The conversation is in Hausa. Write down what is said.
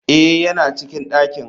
Eh yana cikin dakin.